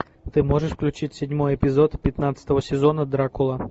ты можешь включить седьмой эпизод пятнадцатого сезона дракула